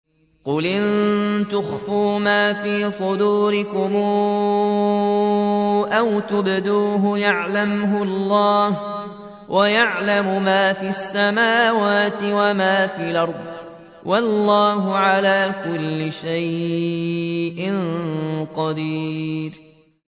قُلْ إِن تُخْفُوا مَا فِي صُدُورِكُمْ أَوْ تُبْدُوهُ يَعْلَمْهُ اللَّهُ ۗ وَيَعْلَمُ مَا فِي السَّمَاوَاتِ وَمَا فِي الْأَرْضِ ۗ وَاللَّهُ عَلَىٰ كُلِّ شَيْءٍ قَدِيرٌ